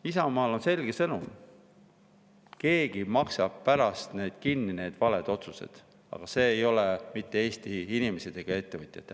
Isamaal on selge sõnum: keegi maksab pärast kinni need valed otsused, aga need ei ole mitte Eesti inimesed ega ettevõtjad.